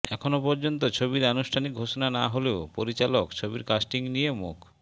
এখনও পর্যন্ত ছবির আনুষ্ঠানিক ঘোষণা না হলেও পরিচালক ছবির কাস্টিং নিয়ে মুখ